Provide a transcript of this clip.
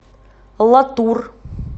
латур